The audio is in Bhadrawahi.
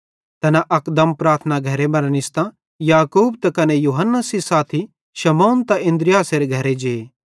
तैना अकदम प्रार्थना घरे मरां निस्तां याकूब त कने यूहन्ना सेइं साथी शमौन त अन्द्रियासेरे घरे जे